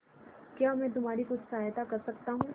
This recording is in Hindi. क्या मैं तुम्हारी कुछ सहायता कर सकता हूं